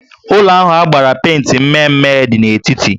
Ụlọ ahụ agbara penti mme mme dị n'etiti